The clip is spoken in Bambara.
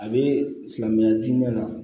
A bɛ silamɛya diinɛ na